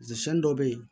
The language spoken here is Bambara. Sɛn dɔw bɛ ye